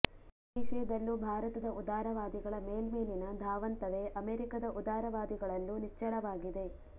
ಈ ವಿಷಯದಲ್ಲೂ ಭಾರತದ ಉದಾರವಾದಿಗಳ ಮೇಲ್ಮೇಲಿನ ಧಾವಂತವೇ ಅಮೆರಿಕದ ಉದಾರವಾದಿಗಳಲ್ಲೂ ನಿಚ್ಚಳವಾಗಿದೆ